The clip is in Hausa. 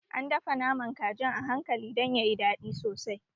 An dafa naman kajin a hankali dan yayi daɗi sosai